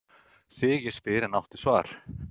Þig ég spyr, en áttu svar?